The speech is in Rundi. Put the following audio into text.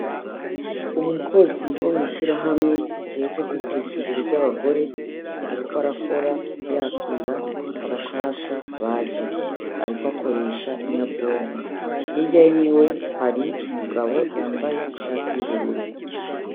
Umukozi wo mw'ishira hamwe rijeje kwiteza imbere ry'abagore, ariko arakora yakira abashasha baje, ariko akoresha inyabonko yerya wi we hari umugabo yambaye ishati y'ubururu.